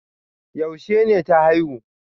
Yaushe ne ta haihu?